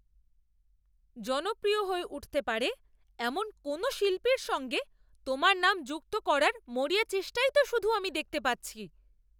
জনপ্রিয় হয়ে উঠতে পারে এমন কোনও শিল্পীর সঙ্গে তোমার নাম যুক্ত করার মরিয়া চেষ্টাটাই তো শুধু আমি দেখতে পাচ্ছি।